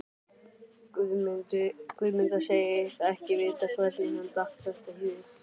Guðmunda segist ekki vita hvernig henni datt þetta í hug.